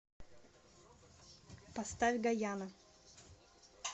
поставь гаяна